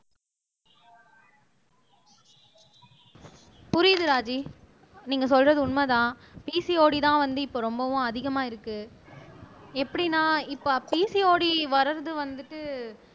புரியுது ராஜி நீங்க சொல்றது உண்மைதான் PCOD தான் வந்து இப்ப ரொம்பவும் அதிகமா இருக்கு எப்படின்னா இப்ப PCOD வர்றது வந்துட்டு